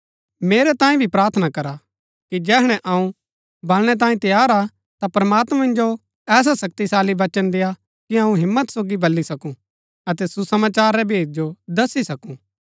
मेरै तांई भी प्रार्थना करा कि जैहणै अऊँ बलनै तांये तैयार हा ता प्रमात्मां मिन्जो ऐसा शक्तिशाली वचन देय्आ कि अऊँ हिम्मत सोगी बल्ली सकूँ अतै सुसमाचार रै भेद जो दस्सी सकूँ